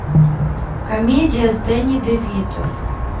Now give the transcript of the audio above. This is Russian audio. комедия с дэнни де вито